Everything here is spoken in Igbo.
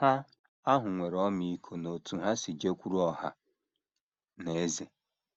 Ha ahụ nwere ọmịiko n’otú ha si jekwuru ọha na eze.